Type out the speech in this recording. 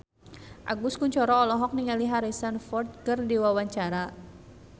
Agus Kuncoro olohok ningali Harrison Ford keur diwawancara